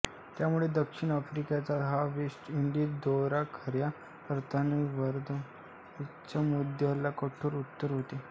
त्यामुळे दक्षिण आफ्रिकेचा हा वेस्ट इंडीज दौरा खऱ्या अर्थाने वर्णभेदाच्या मुद्द्याला कठोर उत्तर होते